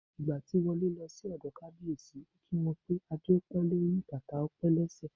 Ìgbà tí Wọlé lọ sí ọ̀dọ̀ Kábíyèsí, ó kí wọn pé "Adé á pẹ́ lórí, bàtà á pẹ́ lẹ́sẹ̀".